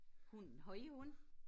Hunden har i hund?